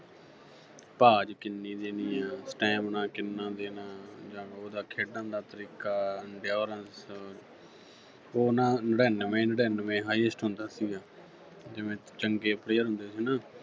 ਭਾਜ ਕਿੰਨੀ ਦੇਣੀ ਆ stamina ਕਿੰਨਾ ਦੇਣਾ ਜਾਂ ਉਹਦਾ ਖੇਡਣ ਦਾ ਤਰੀਕਾ endurance ਉਹ ਨਾ ਨਿੜੱਨਵੇਂ-ਨਿੜੱਨਵੇਂ highest ਹੁੰਦਾ ਸੀਗਾ ਜਿਵੇਂ ਚੰਗੇ player ਹੁੰਦੇ ਸੀ ਨਾ